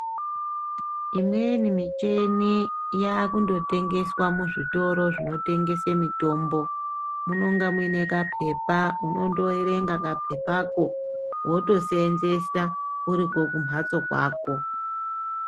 Imweni mitombo yakungotengeswa muzvitori zvinotengese mitombo munenge muine kapepa unondoerenga kapepako wotoseenzesa uri kumphatso kwako.